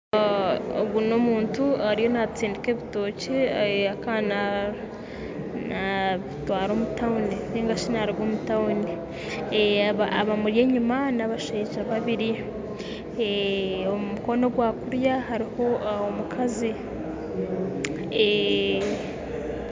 Ogu n'omuntu ariyo naatsindika ebitookye kubitwara omu tauni, abashaija babiiri bamuri enyima kandi aha mukono ogwa kiriyo hariyo omukazi